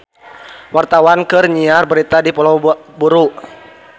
Wartawan keur nyiar berita di Pulau Buru